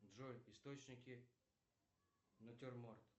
джой источники натюрморт